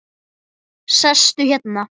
Mér er skemmt.